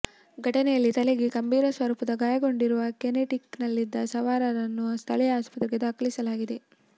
ಘಟನೆಯಲ್ಲಿ ತಲೆಗೆ ಗಂಭೀರ ಸ್ವರೂಪದ ಗಾಯಗೊಂಡಿರುವ ಕೆನೆಟಿಕ್ ನಲ್ಲಿದ್ದಸವಾರನನ್ನು ಸ್ಥಳೀಯ ಆಸ್ಪತ್ರೆಗೆ ದಾಖಲಿಸಲಾಗಿದೆ